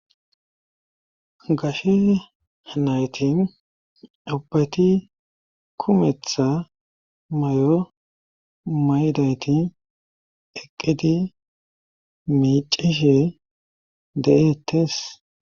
gashe naytin ubati kumetha mayo maydayti eqqidi miicishe de7ettes